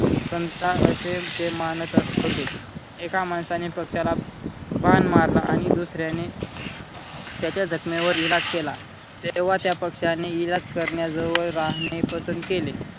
संत असे ते मनात होते. एका माणसाने पक्षाला बाण मारला आणि दुसर्याने त्याच्या जखमेवर इलाज केला तेंव्हा त्या पक्षाने इलाज करणाऱ्या जवळ राहणे पसंत केले.